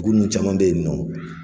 Dugu nnu caman be yen nɔ